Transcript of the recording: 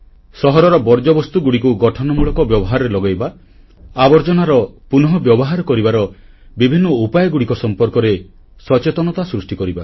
ସହରର ବର୍ଜ୍ୟବସ୍ତୁଗୁଡ଼ିକୁ ଗଠନମୂଳକ ବ୍ୟବହାରରେ ଲଗାଇବା ଏବଂ ଆବର୍ଜନାର ପୁନଃବ୍ୟବହାର କରିବାର ବିଭିନ୍ନ ଉପାୟଗୁଡ଼ିକ ସମ୍ପର୍କରେ ସଚେତନତା ସୃଷ୍ଟି କରିବା